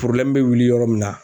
bɛ wuli yɔrɔ min na